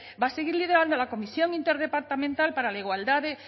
va a seguir liderando la comisión interdepartamental para la igualdad de